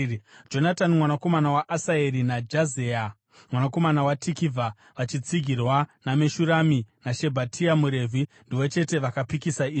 Jonatani mwanakomana waAsaeri naJazeya mwanakomana waTikivha, vachitsigirwa naMeshurami naShabhetai muRevhi, ndivo chete vakapikisa izvi.